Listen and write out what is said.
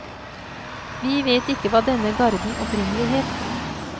Vi vet ikke hva denne garden opprinnelig het.